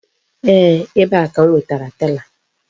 Eeh, ebe a ka m wetara tela.